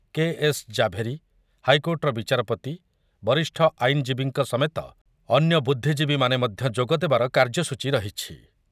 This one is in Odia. କେ. ଏସ୍. ଜାଭେରୀ, ହାଇକୋର୍ଟର ବିଚାରପତି, ବରିଷ୍ଠ ଆଇନଜୀବୀଙ୍କ ସମେତ ଅନ୍ୟ ବୁଦ୍ଧୀଜୀବୀମାନେ ମଧ୍ୟ ଯୋଗଦେବାର କାର୍ଯ୍ୟସୂଚୀ ରହିଛି ।